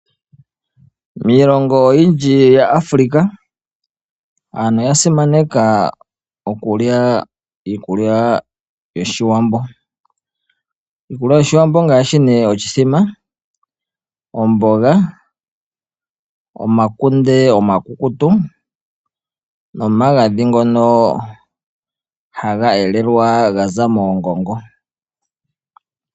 Miilongo oyindji ya Africa aantu oya simaneka okulya iikulya yOshiwambo. Iikulya yOshiwambo ongaashi nee oshithima, omboga, omakunde omakukutu nomagadhi ngono haga elelwa ga za moongongo.